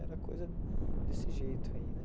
Era coisa desse jeito aí, né?